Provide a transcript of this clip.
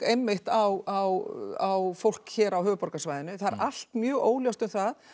einmitt á fólk hér á höfuðborgarsvæðinu það er allt mjög óljóst um það